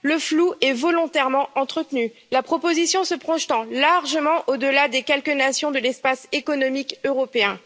Le flou est volontairement entretenu, la proposition se projetant largement au delà des quelques nations de l'espace économique européen.